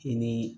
I ni